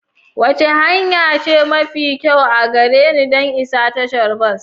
Wace hanya ce mafi kyau a gare ni don isa tashar bas?